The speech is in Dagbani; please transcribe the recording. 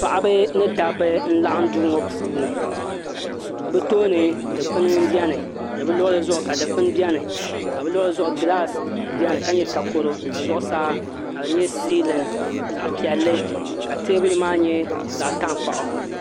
Paɣaba ni dabba n laɣam duu ŋo puuni bi tooni dilpuni n bɛni ni bi luɣuli zuɣu dikouni bɛni ni bi luɣuli zuɣu gilaas biɛni ka nyɛ takoro ka zuɣusaa ka di nyɛ siilin zaɣ piɛlli ka teebuli maa nyɛ zaɣ tankpaɣu